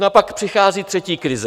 No a pak přichází třetí krize.